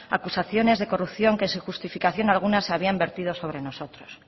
acusaciones de corrupción que sin justificación alguna se habían vertido sobre nosotros